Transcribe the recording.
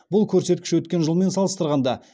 бұл көрсеткіш өткен жылмен салыстырғанда